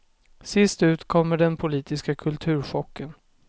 Sist ut kommer den politiska kulturchocken.